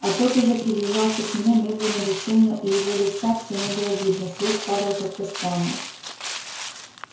а тот уже приближался к нему медленно бесшумно и его лица всё не было видно свет падал как-то странно